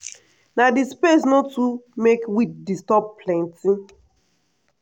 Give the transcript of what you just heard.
na di space no too make weed disturb plenty.